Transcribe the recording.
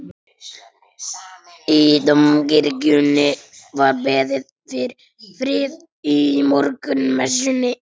Í Dómkirkjunni var beðið fyrir friði í morgunmessunni.